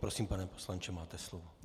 Prosím, pane poslanče, máte slovo.